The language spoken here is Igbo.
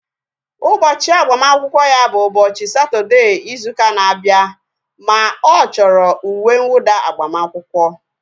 Ụbọchị agbamakwụkwọ ya bụ ụbọchị Satọdee izu ụka na-abịa ma ọ chọrọ uwe nwụda agbamakwụkwọ